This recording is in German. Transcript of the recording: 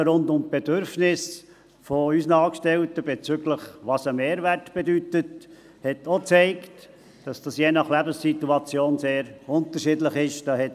Die Diskussionen rund um die Bedürfnisse unserer Angestellten, was ein Mehrwert bedeute, haben auch gezeigt, dass das je nach Lebenssituation sehr unterschiedlich ist.